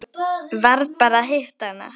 Varð bara að hitta hana.